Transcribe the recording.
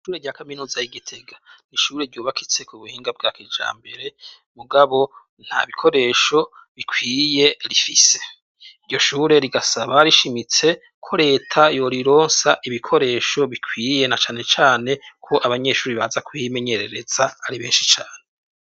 Ishure rya kaminuza y'igitega nishure ryubakitse k'ubuhinga bwa kijambere mugabo ntabikoresho bikwiye rifise. Iryoshure rigasaba rishimitse ko reta yorironsa ibikoresho bikwiye nacanecane ko abanyeshure baza kuhimenyereza ari benshi cane.